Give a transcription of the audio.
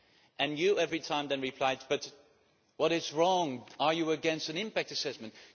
And every time you then replied But what is wrong, are you against an impact assessment?'.